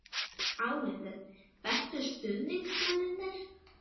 Álitið: Bestu stuðningsmennirnir?